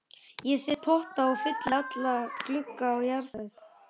Ég set í potta og fylli alla glugga á jarðhæð.